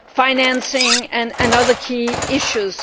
on financing and other key issues.